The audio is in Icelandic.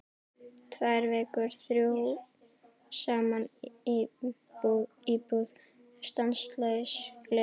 Tvær vikur, þrjú saman í íbúð, stanslaus gleði.